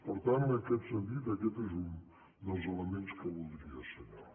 per tant en aquest sentit aquest és un dels elements que voldria assenyalar